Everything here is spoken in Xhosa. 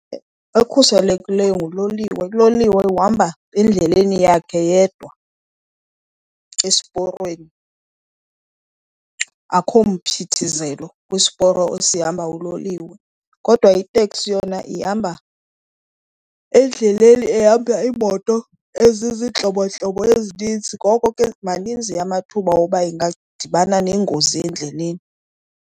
Ekhuselekileyo nguloliwe. Uloliwe uhamba endleleni yakhe yedwa, esiporweni, akho mphithizelo kwisporo esihamba uloliwe. Kodwa iteksi yona ihamba endleleni ehamba iimoto eziziintlobontlobo ezininzi, ngoko ke maninzi amathuba woba ingadibana nengozi endleleni.